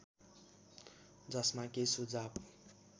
जसमा के सुझाव